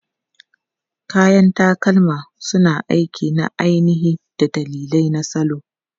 Kayan takalma suna aiki na ainihi da dalilai na salo.